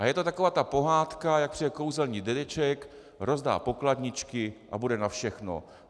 A je to taková ta pohádka, jak přijde kouzelný dědeček, rozdá pokladničky a bude na všechno.